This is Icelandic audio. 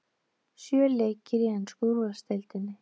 Sjö leikir í ensku úrvalsdeildinni